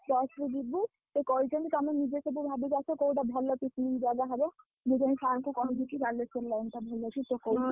Bus ରେ ଯିବୁ ସେ କହିଛନ୍ତି ତମେ ନିଜେ ସବୁ ଭାବିକି ଆସ କୋଉଟା ଭଲ picnic ଜାଗା ହବ ମୁଁ ଯାଇଁ sir ଙ୍କୁ କହିବିକି ବାଲେଶ୍ୱର line ଟା ଭଲ ଅଛି।